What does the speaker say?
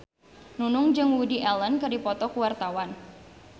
Nunung jeung Woody Allen keur dipoto ku wartawan